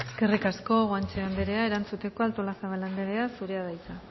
eskerrik asko guanche anderea erantzuteko artolazabal anderea zurea da hitza